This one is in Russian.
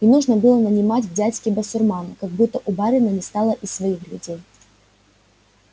и нужно было нанимать в дядьки басурмана как будто у барина не стало и своих людей